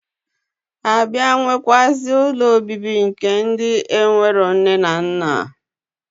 Abia nwekwazi ụlọ obibi nke ndi enwereo nne na nna.